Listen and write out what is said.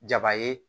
Jaba ye